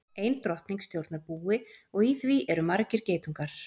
Ein drottning stjórnar búi og í því eru margir geitungar.